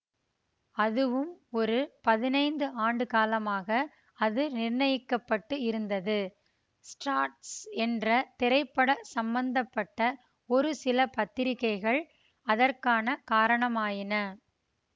அதுவும் ஒரு பதினைந்து ஆண்டுக்காலமாக அதுநிர்ணயிக்கப்பட்டு இருந்தது ஸ்ட்ராட்ஸ் போன்ற திரைப்பட சம்பந்த பட்ட ஒருசில பத்திரிகைகள் அதற்கான காரணமாயின